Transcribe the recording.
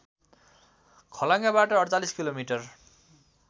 खलङ्गाबाट ४८ kilometre